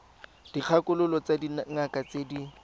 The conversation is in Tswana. dikgakololo tsa dingaka tse di